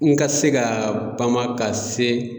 N ka se kaa bama ka se